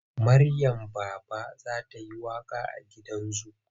Maryam Baba za ta yi waƙa a gidan zu.